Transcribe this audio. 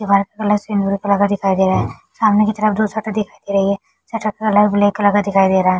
White वाला cement लगा दिखाई दे रहा है सामने की तरफ जो शटर दिख रही है शटर का लाइट ब्लैक कलर का दिखाई दे रहा है।